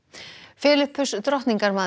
Filippus